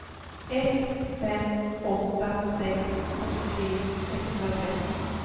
ett fem åtta sex fyrtiotre etthundratretton